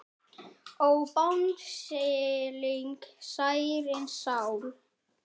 Ó Bangsalega sígræna sál.